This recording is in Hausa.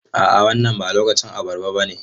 A'a wannan ba lokacin abarba bane.